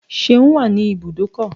Seun is at the garage